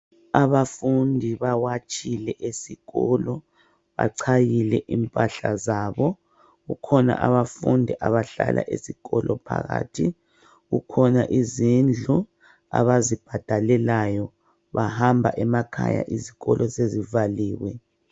Abafundi bawatshile esikolo, bachayile impahla zabo. Kukhona abafundi abahlala esikolo phakathi. Kukhona izindlu abazibhadalelayo ,bahamba emakhaya izikolo sezivaliwe.